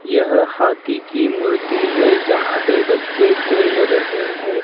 यह हाथी की मूर्ति है जहां पे बच्चे खेल रहे हैं।